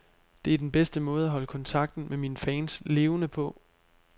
Det er den bedste måde at holde kontakten med mine fans levende på.